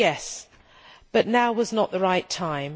Yes, but now was not the right time.